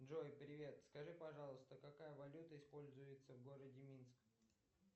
джой привет скажи пожалуйста какая валюта используется в городе минск